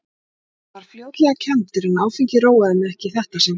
Ég varð fljótlega kenndur, en áfengið róaði mig ekki í þetta sinn.